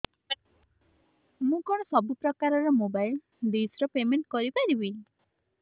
ମୁ କଣ ସବୁ ପ୍ରକାର ର ମୋବାଇଲ୍ ଡିସ୍ ର ପେମେଣ୍ଟ କରି ପାରିବି